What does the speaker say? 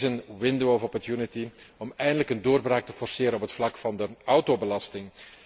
Dit is een window of opportunity om eindelijk een doorbraak te forceren op het vlak van de autobelasting.